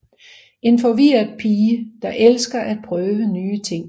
En forvirret pige der elsker at prøve nye ting